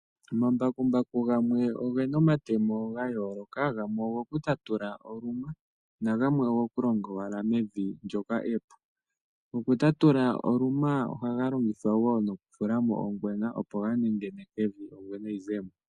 Omambakumbaku oge na omatemo ga yooloka. Gamwe ogo ku tatula oluma na gamwe ogo ku longa owala mevi ndyoka epu. Ngono goku tatula oluma oha ga longithwa woo okufula mo ongwena opo ga nengeneke evi ongwena yi ze mo.